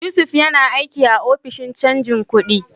Yusuf yana aiki a Ofishin Canjin Kudi.